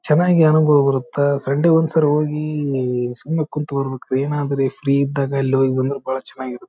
ಇಲ್ಲೆಲ್ಲಾ ವಾಕ್ಯಗಳೇ ಇದಾವೆ ಮತೆ ಎಲ್ಲಾ ಸ್ಟೈಲಾಗೆ ಚನಾಗೆ ಕಾಣ್ತಾಯಿದೆ.